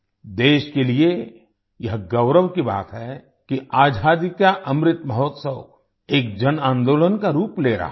देश के लिए यह गौरव की बात है कि आज़ादी का अमृत महोत्सव एक जनआंदोलन का रूप ले रहा है